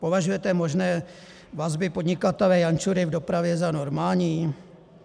Považujete možné vazby podnikatele Jančury v dopravě za normální?